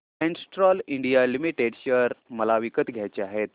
Castrol India limited share मला विकत घ्यायचे आहेत